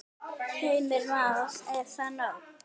Heimir Már: Er það nóg?